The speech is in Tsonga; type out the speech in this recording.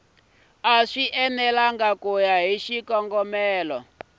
enelangi ku ya hi xikongomelo